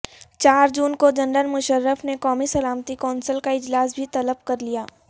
چار جون کو جنرل مشرف نے قومی سلامتی کونسل کا اجلاس بھی طلب کر لیا